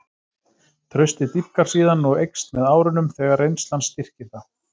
Traustið dýpkar síðan og eykst með árunum þegar reynslan styrkir það.